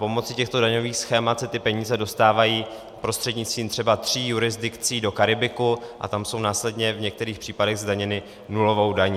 Pomocí těchto daňových schémat se ty peníze dostávají prostřednictvím třeba tří jurisdikcí do Karibiku a tam jsou následně v některých případech zdaněny nulovou daní.